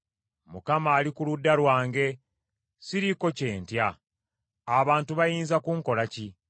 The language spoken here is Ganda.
Mukama ali ku ludda lwange, siriiko kye ntya. Abantu bayinza kunkolako ki?